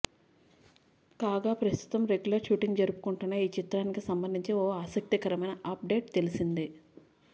కాగా ప్రస్తుతం regular shooting జరుపుకుంటున్న ఈ చిత్రానికి సంబంధించి ఓ ఆసక్తికరమైన అప్ డేట్ తెలిసింది